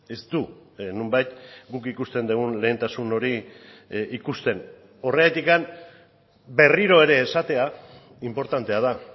ez du nonbait guk ikusten dugun lehentasun hori ikusten horregatik berriro ere esatea inportantea da